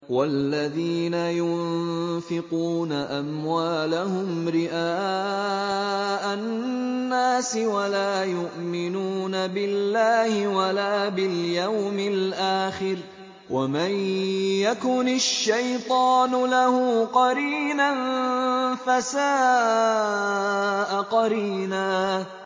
وَالَّذِينَ يُنفِقُونَ أَمْوَالَهُمْ رِئَاءَ النَّاسِ وَلَا يُؤْمِنُونَ بِاللَّهِ وَلَا بِالْيَوْمِ الْآخِرِ ۗ وَمَن يَكُنِ الشَّيْطَانُ لَهُ قَرِينًا فَسَاءَ قَرِينًا